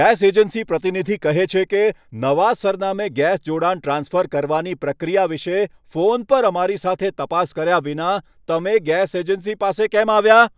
Gas agency પ્રતિનિધિ કહે છે કે, નવા સરનામે ગેસ જોડાણ ટ્રાન્સફર કરવાની પ્રક્રિયા વિશે ફોન પર અમારી સાથે તપાસ કર્યા વિના તમે ગેસ એજન્સી પાસે કેમ આવ્યા?